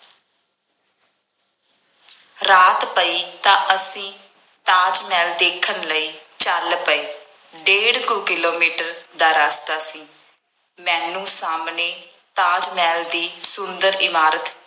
ਰਾਤ ਪਈ ਤਾਂ ਅਸੀਂ ਤਾਜ ਮਹਿਲ ਦੇਖਣ ਲਈ ਚੱਲ ਪਏ। ਡੇਢ ਕੁ ਕਿਲੋਮੀਟਰ ਦਾ ਰਸਤਾ ਸੀ। ਮੈਨੂੰ ਸਾਹਮਣੇ ਤਾਜ ਮਹਿਲ ਦੀ ਸੁੰਦਰ ਇਮਾਰਤ